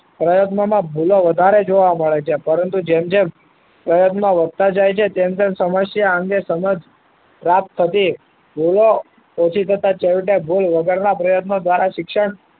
પ્રયત્નોમાં ભૂલો વધારે જોવા મળે છે પરંતુ જેમ જેમ પ્રયત્નો વધતા જાય છે તેમ તેમ સમસ્યા અંગે સમજ પ્રાપ્ત થતી ભૂલો ઓછી થતા છેવટે ભૂલ વગરના પ્રયત્નો દ્વારા શિક્ષણ